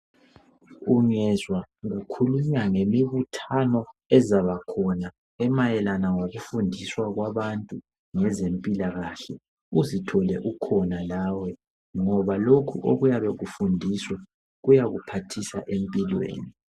Ungezwa kukhulunywa ngemibuthano ezabakhona emayelana ngokufundiswa kwabantu ngezempilakahle uzithole ukhona lawe ngoba lokhu okuyabe kufundiswa kuyakuphathisa empilweni.